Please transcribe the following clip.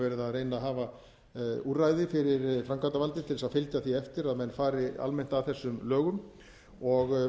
að reyna að hafa úrræði fyrir framkvæmdavaldið til þess að fylgja því eftir að menn fari almennt að þessum lögum og